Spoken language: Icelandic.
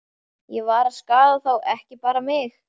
Ég var að skaða þá, ekki bara mig.